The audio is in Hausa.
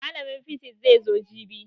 Mallamin fisis zai zo jibi